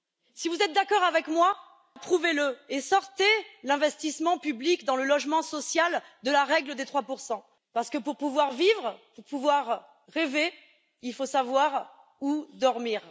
Si vous êtes d'accord avec moi, prouvez le et retirez l'investissement public dans le logement social de la règle des 3 parce que pour pouvoir vivre, pour pouvoir rêver, il faut savoir où dormir.